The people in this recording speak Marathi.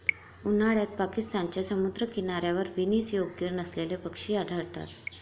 उन्हाळ्यात पाकिस्तानच्या समुद्रकिनाऱ्यावर विनीस योग्य नसलेले पक्षी आढळतात.